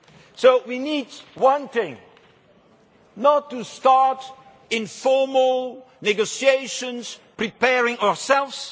So we need one thing. Not to start informal negotiations preparing ourselves.